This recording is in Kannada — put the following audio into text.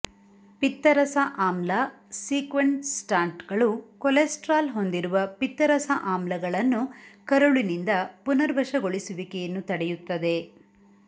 ಪಿತ್ತರಸ ಆಮ್ಲ ಸೀಕ್ವೆಸ್ಟ್ರಾಂಟ್ಗಳು ಕೊಲೆಸ್ಟ್ರಾಲ್ ಹೊಂದಿರುವ ಪಿತ್ತರಸ ಆಮ್ಲಗಳನ್ನು ಕರುಳಿನಿಂದ ಪುನರ್ವಶಗೊಳಿಸುವಿಕೆಯನ್ನು ತಡೆಯುತ್ತದೆ